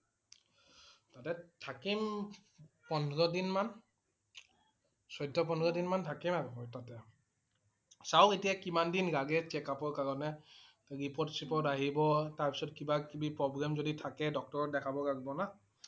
তাতে থাকিম~পোন্ধৰ দিন মান । চৈধ্য পোন্ধৰ দিন মান থাকিম আৰু মই তাতে । চাও এতিয়া কিমান দিন লাগে checkup ৰ কাৰণে। report চিপৰ্ত আহিব। তাৰ পিছত কিবা কিবি problem যদি ডক্তৰ ক দেখাব লাগিব না